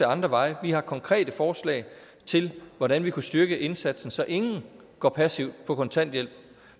andre veje vi har konkrete forslag til hvordan man kunne styrke indsatsen så ingen går passivt på kontanthjælp